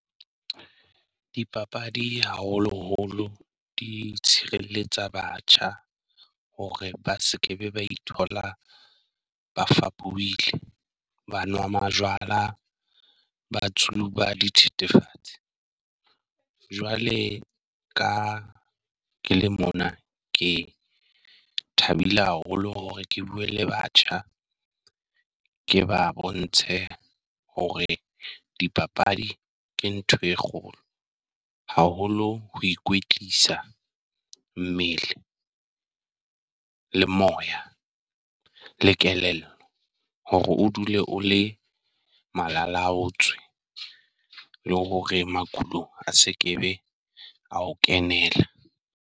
Dipapadi haholoholo di tshireletsa batjha hore ba se ke be ba ithola ba fapohile, ba nwa ba majwala batsho ba tsuba dithethefatsi. Jwale ka ke le mona ke thabile haholo hore ke bue le batjha, ke ba bontshe hore dipapadi ke ntho e kgolo. Haholo ho ikwetlisa mmele le moya le kelello hore o dule o le malalaotswe, le hore makhulo a se kebe a ho kenela.